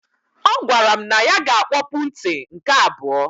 Ọ gwara m na ya ga akpọpụ nti nke abụọ.